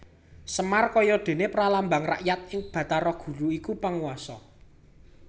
Semar kaya dene pralambang rakyat lan Bathara Guru iku panguwasa